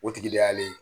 O tigi de y'ale